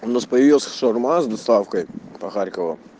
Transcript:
у нас появилась шаурма с доставкой по харькову